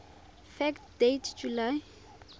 fact date july